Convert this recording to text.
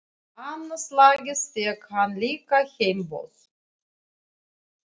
Annað slagið fékk hann líka heimboð.